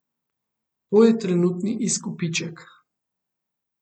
To je trenutni izkupiček.